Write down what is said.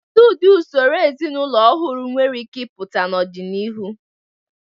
Kedu ụdị usoro ezinụlọ ọhụrụ nwere ike ịpụta n'ọdịnihu?